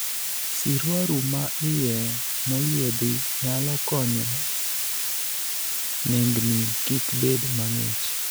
Siruaru ma iye moyiedhi nyalo konyo nengni kik bed mang'ich.